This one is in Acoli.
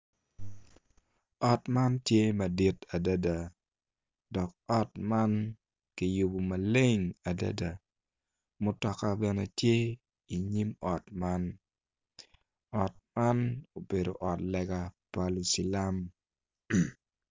Ot man tye madit adada dok ot man kiyubo maleng adada mutoka bene tye i nyim ot man ot man obedo ot lega pa lucilam.